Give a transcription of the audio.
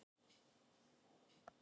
Gætirðu rétt mér saltið?